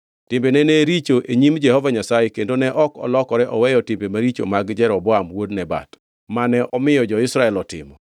Timbene ne richo e nyim Jehova Nyasaye kendo ne ok olokore oweyo timbe maricho mag Jeroboam wuod Nebat, mane omiyo jo-Israel otimo.